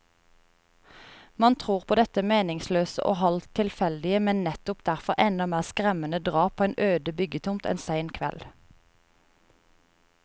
Man tror på dette meningsløse og halvt tilfeldige, men nettopp derfor enda mer skremmende drap på en øde byggetomt en sen kveld.